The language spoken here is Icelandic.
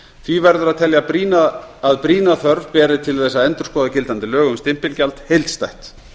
því verður að telja að brýna þörf beri til þess að endurskoða gildandi lög um stimpilgjald heildstætt